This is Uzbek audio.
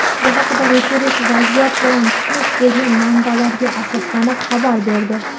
Bu haqda "Reuters" vaziyat bilan tanish bo‘lgan manbalariga asoslanib xabar berdi.